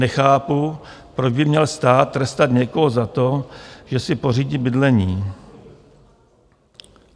Nechápu, proč by měl stát trestat někoho za to, že si pořídí bydlení.